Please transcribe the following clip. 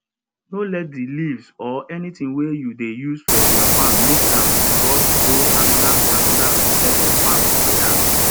no let di leaves or anytin wey you dey use for your farm make am cross go another another pesin farm or yard